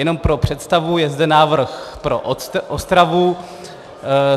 Jenom pro představu, je zde návrh pro Ostravu.